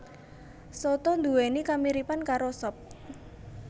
Soto nduwèni kamiripan karo sop